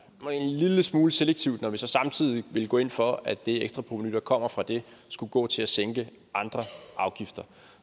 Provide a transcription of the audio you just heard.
var en lille smule selektivt når vi så samtidig ville gå ind for at det ekstra provenu der kommer fra det skulle gå til at sænke andre afgifter